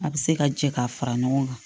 A bɛ se ka jɛ k'a fara ɲɔgɔn kan